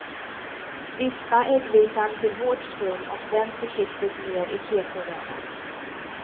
Vispa äggvitan till hårt skum och vänd försiktigt ner i kesoröran.